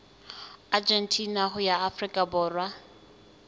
argentina ho ya afrika borwa